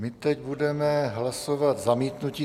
My teď budeme hlasovat zamítnutí.